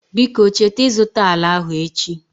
Biko cheta ịzụta ala ahụ echi.